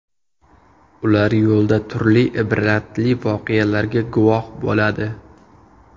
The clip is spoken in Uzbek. Ular yo‘lda turli ibratli voqealarga guvoh bo‘ladi.